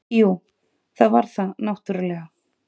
Jú, það var það náttúrulega.